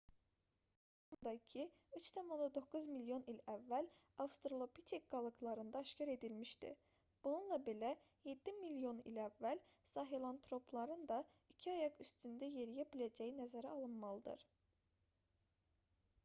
i̇kiayaqlılıq əlamətləri 4,2-3,9 milyon il əvvəl avstralopitek qalıqlarında aşkar edilmişdi bununla belə yeddi milyon il əvvəl sahelantropların da iki ayaq üstündə yeriyə biləcəyi nəzərə alınmalıdır